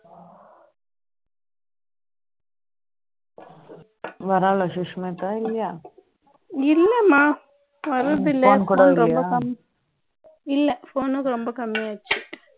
இல்லம்மா வர்றதெ இல்லை phone கூட இல்லையா இல்லை phone கூட ரொம்ப கம்மி ஆயிடுச்சு